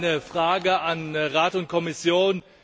Ich habe eine Frage an Rat und Kommission.